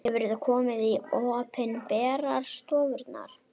Hefurðu komið í opinberar stofnanir?